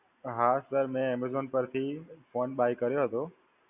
હાં Sir મેં Amazon પરથી phonebuy કર્યો હતો.